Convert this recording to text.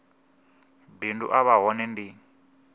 bindu a vha hone ndi